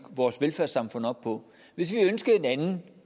vores velfærdssamfund op på hvis vi ønskede en anden